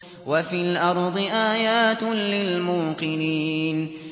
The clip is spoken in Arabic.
وَفِي الْأَرْضِ آيَاتٌ لِّلْمُوقِنِينَ